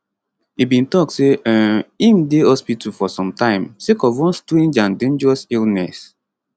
e bin tok say um im dey hospital for sometime sake of one strange and dangerous illness